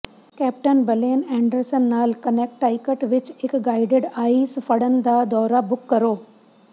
captain Blaine Anderson ਨਾਲ Connecticut ਵਿਚ ਇਕ ਗਾਈਡਡ ਆਈਸ ਫੜਨ ਦਾ ਦੌਰਾ ਬੁੱਕ ਕਰੋ